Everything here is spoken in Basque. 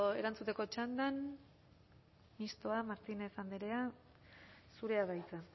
erantzuteko txandan mistoa martínez andrea zurea da hitza